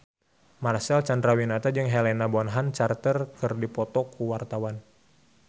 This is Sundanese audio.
Marcel Chandrawinata jeung Helena Bonham Carter keur dipoto ku wartawan